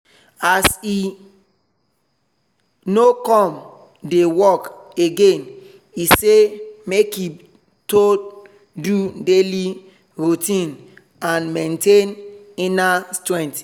as e no come dey work again e say make e to do daily routine and maintain inner strength